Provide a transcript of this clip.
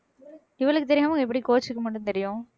இவளுக்கு தெரியாம எப்படி coach க்கு மட்டும் தெரியும்